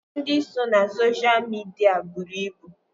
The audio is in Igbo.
Ndị nọ na sosha midia buru ibu